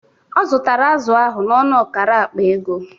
Ọ zụtara azụ ahụ n'ọnụ ọkara akpa ego